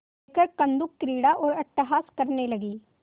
लेकर कंदुकक्रीड़ा और अट्टहास करने लगी